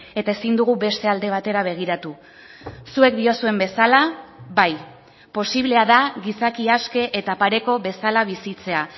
eta ezin dugu beste alde batera begiratu zuek diozuen bezala bai posiblea da gizaki aske eta pareko bezala bizitzea